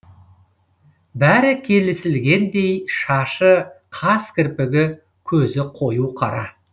бәрі келісілгендей шашы қас кірпігі көзі қою қара